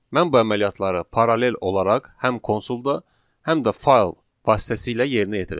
Mən bu əməliyyatları paralel olaraq həm konsulda, həm də fayl vasitəsilə yerinə yetirəcəm.